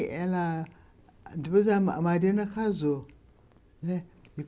Ela... Depois a Mariana casou, né.